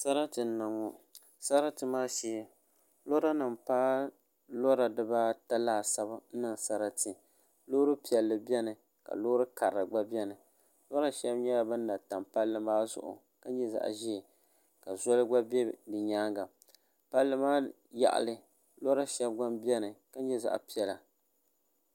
Sarati n niŋ ŋɔ sarati maa shee lora nim paai lora dibaata laasabu n niŋ sarati loori piɛlli biɛni ka loori karili gba biɛni lora shab nyɛla bin na tam palli maa zuɣu ka nyɛ zaɣ ʒiɛ ka zoli gba bɛ bi nyaanga palli maa yaɣali lora shab gba biɛni ka nyɛ zaɣ piɛla